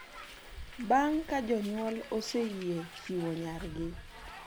Bang ka jonyuol oseyie chiwo nyargi.